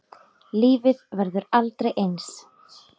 Lífið verður aldrei eins.